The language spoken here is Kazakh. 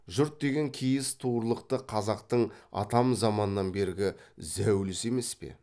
жұт деген киіз туырлықты қазақтың атам заманнан бергі зәулісі емес пе